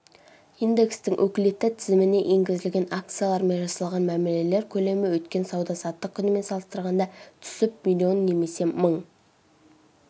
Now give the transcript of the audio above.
индекстің өкілетті тізіміне енгізілген акциялармен жасалған мәмілелер көлемі өткен сауда-саттық күнімен салыстырғанда түсіп миллион немесе мың